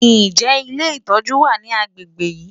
Ǹjẹ́ ilé ìtọ́jú wà ní agbègbè yìí?